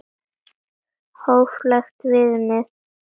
Hóflegt viðmið?